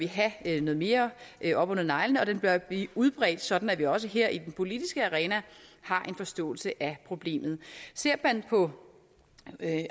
have noget mere mere op under neglene og den bør blive udbredt sådan at vi også her i den politiske arena har en forståelse af problemet ser man på